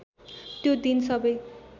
त्यो दिन सबै